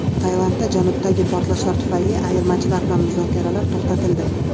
Tailandda janubdagi portlashlar tufayli ayirmachilar bilan muzokaralar to‘xtatildi.